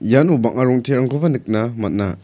iano bang·a rong·terangkoba nikna man·a.